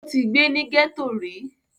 ó ti gbé ní gẹ̀tò rí